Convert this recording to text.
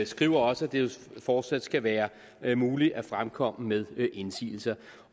skriver også at det fortsat skal være være muligt at fremkomme med indsigelser